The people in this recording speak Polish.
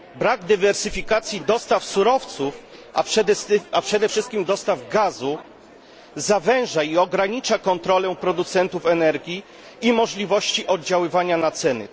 Brak dywersyfikacji dostaw surowców, a przede wszystkim dostaw gazu, zawęża i ogranicza kontrolę producentów energii i możliwości oddziaływania na ceny.